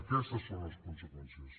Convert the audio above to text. aquestes són les conseqüències